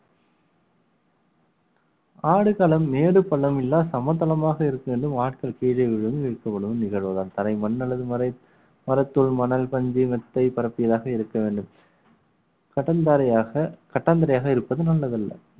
ஆடுகளம் மேடு பள்ளம் எல்லாம் சமதளமாக இருக்குமென்றும் ஆட்கள் கீழே விழுந்து இழுக்கப்படும் நிகழ்வுதான் தரை மண் அல்லது மரைத்~ மரத்தூள் மணல் பஞ்சு மெத்தை பரப்பியதாக இருக்க வேண்டும் கடம் பாறையாக கட்டாந்தரையாக இருப்பது நல்லதல்ல